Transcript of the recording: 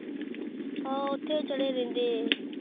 ਹਾਂ ਓਥੇ ਚੜੇ ਰਹਿੰਦੇ